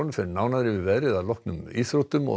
fer nánar yfir veðrið að loknum íþróttum og